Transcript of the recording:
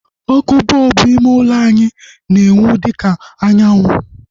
Ọkụ bọlbụ ime ulo anyị na-enwu dịka anyanwụ